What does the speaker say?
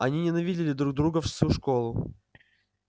они ненавидели друг друга всю школу